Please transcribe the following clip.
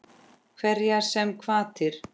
Hverjar sem hvatir